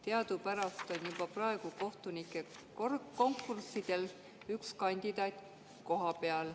Teadupärast juba praegu on kohtunikukonkurssidel üks kandidaat koha peale.